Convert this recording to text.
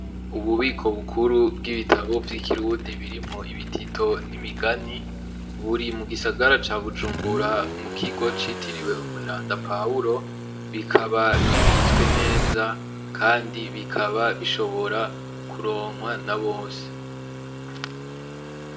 Ububiko bukuru bw'ibitabo vy'i Kirundi birimwo ibitito n'imigani, buri mu gisagara ca Bujumbura mu kigo citiriwe umweranda pawuro, bikaba bibitswe neza kandi bikaba bishobora kuronkwa na bose.